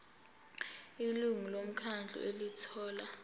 ilungu lomkhandlu elithola